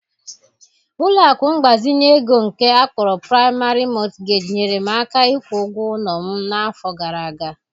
Ụlọ akụ mgbazinye ego nke akpọrọ Praịmarị Mọtụgeji nyeere m aka ịkwụ ụgwọ ụlọ m n'afọ gara aga.